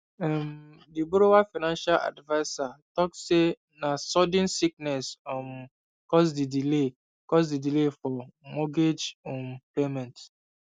um the borrower financial adviser talk say na sudden sickness um cause the delay cause the delay for mortgage um payment